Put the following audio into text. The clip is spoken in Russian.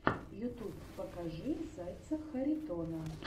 ютуб покажи зайца харитона